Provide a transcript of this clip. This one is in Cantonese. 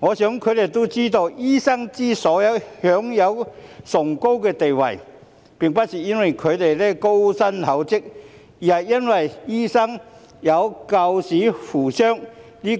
我想他們知道，醫生之所以享有崇高的地位，並不是因為他們高薪厚職，而是因為醫生有救死扶傷的醫